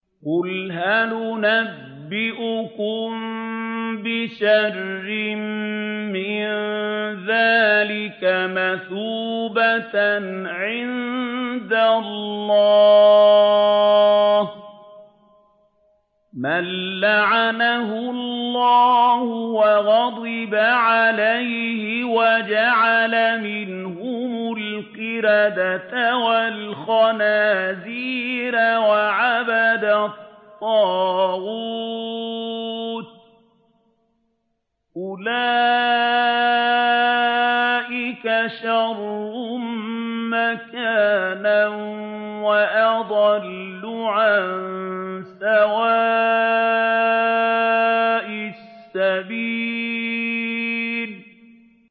قُلْ هَلْ أُنَبِّئُكُم بِشَرٍّ مِّن ذَٰلِكَ مَثُوبَةً عِندَ اللَّهِ ۚ مَن لَّعَنَهُ اللَّهُ وَغَضِبَ عَلَيْهِ وَجَعَلَ مِنْهُمُ الْقِرَدَةَ وَالْخَنَازِيرَ وَعَبَدَ الطَّاغُوتَ ۚ أُولَٰئِكَ شَرٌّ مَّكَانًا وَأَضَلُّ عَن سَوَاءِ السَّبِيلِ